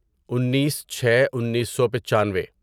انیس چھے انیسو پچانوے